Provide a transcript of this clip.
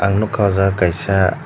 ang nukha aw jaaga kasa.